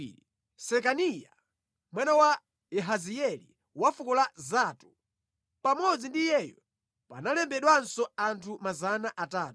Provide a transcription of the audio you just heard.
Sekaniya, mwana wa Yahazieli wa fuko la Zatu. Pamodzi ndi iyeyu panalembedwanso anthu 300.